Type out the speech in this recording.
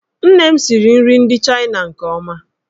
Nne m siri nri ndị Chaịna nke ọma.